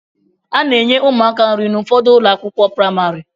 A na-enye ụmụaka nri n'ụfọdụ ụlọakwụkwọ pramarị